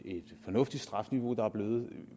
fornuftigt strafniveau